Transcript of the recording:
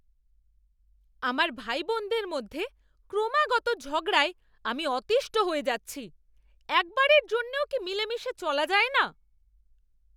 আমার ভাইবোনদের মধ্যে ক্রমাগত ঝগড়ায় আমি অতীষ্ঠ হয়ে যাচ্ছি। একবারের জন্যও কি মিলেমিশে চলা যায় না?